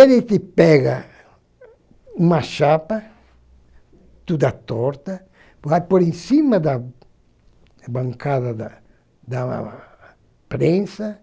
Ele te pega uma chapa, toda torta, vai por em cima da bancada da da prensa